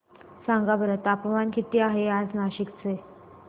सांगा बरं तापमान किती आहे आज नाशिक चे